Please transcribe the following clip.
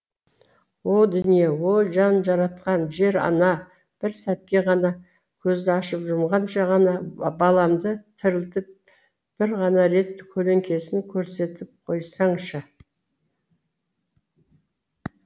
о дүние о жан жаратқан жер ана бір сәтке ғана көзді ашып жұмғанша ғана баламды тірілтіп бір ғана рет көлеңкесін көрсетіп қойсаңшы